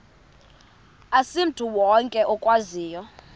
asimntu wonke okwaziyo